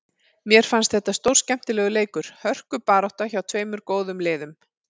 Mér fannst þetta stórskemmtilegur leikur, hörkubarátta, hjá tveimur góðum liðum.